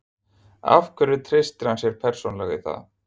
Af hverju treystir hann sér persónulega í það?